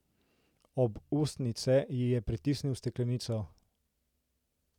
Ob ustnice ji je pritisnil steklenico.